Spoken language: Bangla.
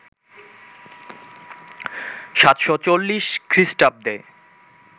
৭৪০ খ্রিস্টাব্দে